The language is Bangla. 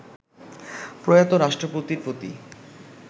প্রয়াত রাষ্ট্রপতির প্রতি